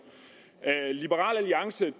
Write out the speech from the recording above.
liberal alliance